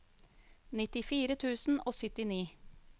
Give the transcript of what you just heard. nittifire tusen og syttini